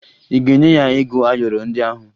Ị ga-enye ya ego ayọrọ ndị ahụ?